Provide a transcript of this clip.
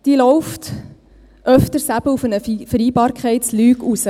Sie läuft des Öftern auf eine Vereinbarkeitslüge hinaus.